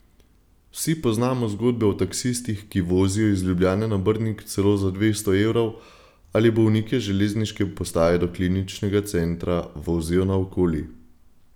Vsi poznamo zgodbe o taksistih, ki vozijo iz Ljubljane na Brnik celo za dvesto evrov ali bolnike z železniške postaje do kliničnega centra vozijo naokoli.